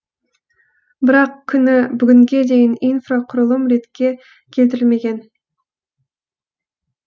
бірақ күні бүгінге дейін инфрақұрылым ретке келтірілмеген